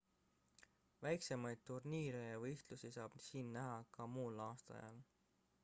väiksemaid turniire ja võistlusi saab siin näha ka muul aastaajal